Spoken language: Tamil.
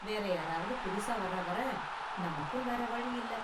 வேற யாராவது புதுசா வர்ற வரை நமக்கும் வேற வழி இல்ல